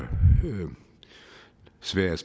sverige er